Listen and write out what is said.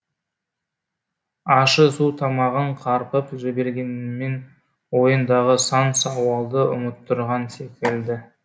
ащы су тамағын қарпып жібергенімен ойындағы сан сауалды ұмыттырған секілді